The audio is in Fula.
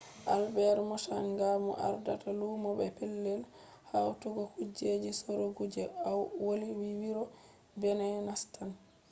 albet mochanga mo ardata lumo be pellel hautugo kujeji sorugo je au woli vi wuro binin nastan